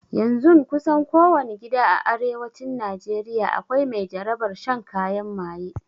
Yanzun kusan ko wani gida a arewacin najeriya akwai mai jarabar shan kayan maye